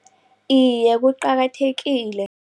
Iye, kuqakathekile.